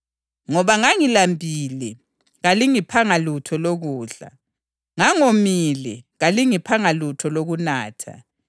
INkosi izakuthi kulabo abakwesokhohlo sayo, ‘Xekani kimi lina eliqalekisiweyo liye emlilweni ongapheliyo owalungiselwa uSathane lezingilosi zakhe.